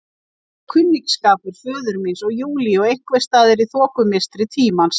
Eins og kunningsskapur föður míns og Júlíu einhvers staðar í þokumistri tímans.